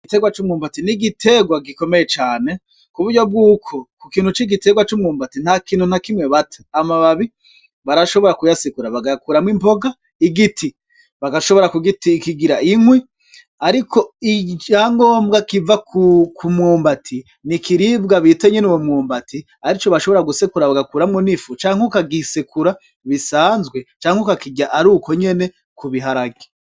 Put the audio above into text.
Igitegwa c'umwumbati ni igitegwa gikomeye cane ku buryo bw'uko ku kintu c'igitegwa c'umwumbati nta kintu nta kimwe bata amababi barashobora kuyasikura bagakuramwo impoga igiti bagashobora kugii ikigira inkwi, ariko icyangombwa kiva kumwumbati ni ikiribwa bitenyene uwo mwumbati ari co ashobora gusekura bagakuramwo n'ifu canke ukagisekura bisanzwe canke ukakirya ari uko nyene kubiharage.